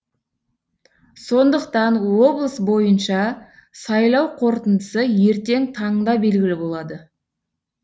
сондықтан облыс бойынша сайлау қорытындысы ертең таңда белгілі болады